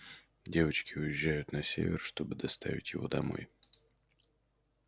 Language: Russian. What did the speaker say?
девочки уезжают на север чтобы доставить его домой